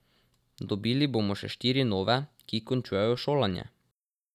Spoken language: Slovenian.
Dobili bomo še štiri nove, ki končujejo šolanje.